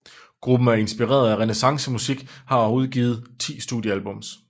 Gruppen er inspireret af renæssancemusik og har udgivet ti studiealbums